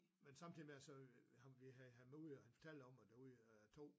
Men samtidigt med det så vil ham vi havde han var ude og fortalte om at ude 2